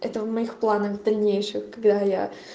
это в моих планах дальнейших когда я